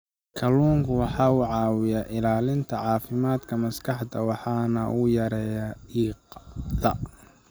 Kalluunku waxa uu caawiyaa ilaalinta caafimaadka maskaxda waxana uu yareeyaa diiqada.